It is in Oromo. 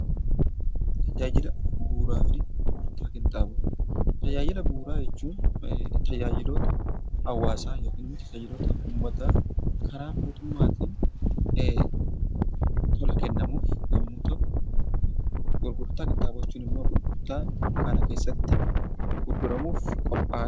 Tajaajila bu'uuraa jechuun tajaajiloota hawaasaa yookiin immoo hariiroo uummataa karaa mootummaatiin tola kennamuuf yommuu ta'u, gurgurtaa qinxaaboo jechuun immoo gurgurtaa kana keessatti gurguramuuf qophaa'an.